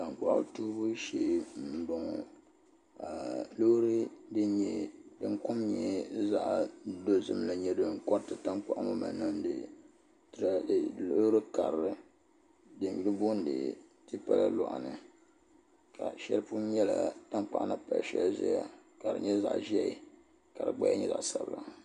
Tankpaɣu toobu shee n boŋo ka loori din kom nyɛ zaɣ dozim ŋo koriti tankpaɣu ŋo mali niŋdi loori karili din yuli booni tipa la loɣani ka shɛli pun nyɛla tankpaɣu ni pali shɛli puuni ʒɛya ka di nyɛ zaɣ ʒiɛ ka di gbaya nyɛ zaɣ sabila